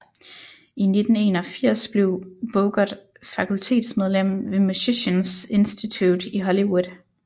I 1981 blev Bogert fakultetsmedlem ved Musicians Institute i Hollywood